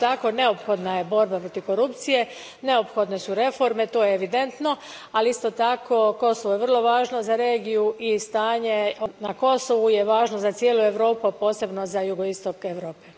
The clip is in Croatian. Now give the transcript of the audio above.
Isto tako, neophodna je borba protiv korupcije, neophodne su reforme, to je evidentno, ali isto tako Kosovo je vrlo važno za regiju i stanje na Kosovu važno je za cijelu Europu, a posebno za jugoistok Europe.